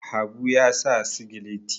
habu ya sa sigileti